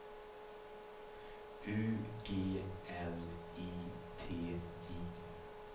U G L I T J